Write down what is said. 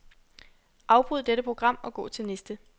Afbryd dette program og gå til næste.